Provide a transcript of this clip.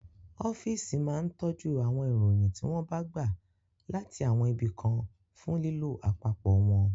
Ọ́físì máa ń tọ́jú àwọn ìròyìn tí wọ́n bá gbà láti àwọn ibi kan fún lílò àpapọ̀ wọn